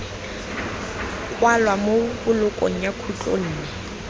kwalwa mo bolokong ya khutlonne